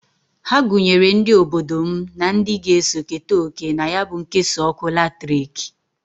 Ha gunyere ndi obodo m na ndi g'eso keta oke na ya bụ nkesa ọkụ latrịk.